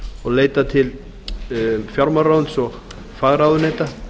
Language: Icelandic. og skyni leitað til fjármálaráðuneytis og fagráðuneyta